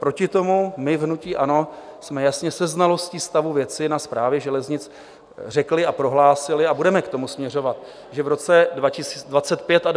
Proti tomu my v hnutí ANO jsme jasně se znalostí stavu věci na Správě železnic řekli a prohlásili, a budeme k tomu směřovat, že v roce 2025 a 2026 začneme stavět první úseky.